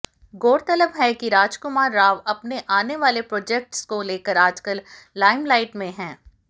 गौरतलब है कि राजकुमार राव अपने आने वाले प्रोजेक्ट्स को लेकर आजकल लाईमलाइट में हैं